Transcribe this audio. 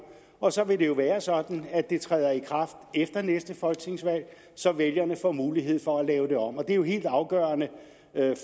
og så vil det jo være sådan at det træder i kraft efter næste folketingsvalg så vælgerne får mulighed for at lave det om det er jo helt afgørende